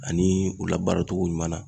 Ani u labaara cogo ɲuman na.